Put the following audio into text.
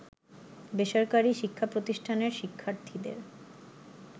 বেসরকারি শিক্ষাপ্রতিষ্ঠানের শিক্ষার্থীদের